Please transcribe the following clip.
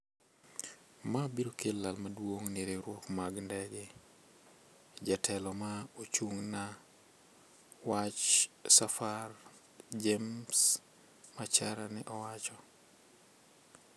"ma biro kelo lal maduong ni riwruoge mag ndege" jatelo ma ochung na wach safar James Macharia ne owacho